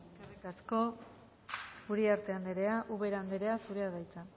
eskerrik asko uriarte anderea ubera andrea zurea da hitza